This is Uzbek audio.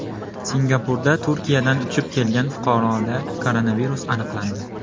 Singapurda Turkiyadan uchib kelgan fuqaroda koronavirus aniqlandi.